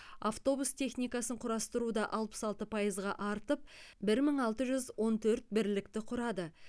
автобус техникасын құрастыру да алпыс алты пайызға артып бір мың алты жүз он төрт бірлікті құрады